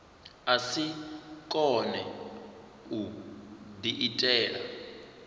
a si kone u diitela